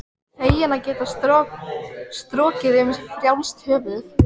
Feginn að geta strokið um frjálst höfuð.